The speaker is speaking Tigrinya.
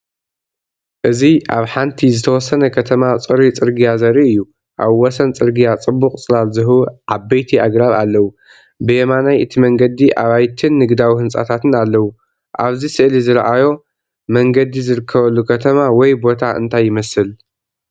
እዚ ኣብ ሓንቲ ዝተወሰነ ከተማ ጽሩይ ጽርግያ ዘርኢ እዩ። ኣብ ወሰን ጽርግያ ጽቡቕ ጽላል ዝህቡ ዓበይቲ ኣግራብ ኣለዉ። ብየማናይ እቲ መንገዲ ኣባይትን ንግዳዊ ህንጻታትን ኣለዉ። ኣብዚ ስእሊ ዝረኣዮ መንገዲ ዝርከበሉ ከተማ ወይ ቦታ እንታይ ይመስል?